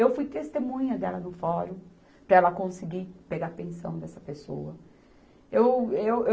Eu fui testemunha dela no fórum, para ela conseguir pegar pensão dessa pessoa. Eu, eu